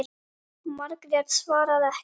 Margrét svaraði ekki.